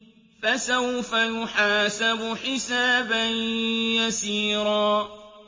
فَسَوْفَ يُحَاسَبُ حِسَابًا يَسِيرًا